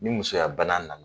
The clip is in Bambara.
Ni musoya bana na